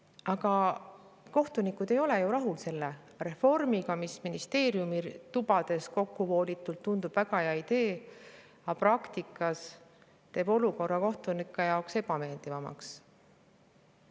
Aga kohtunikud ei ole ju rahul selle reformiga, mis ministeeriumi tubades kokkuvoolitult tundub väga hea idee, aga praktikas teeb olukorra kohtunike jaoks ebameeldivamaks.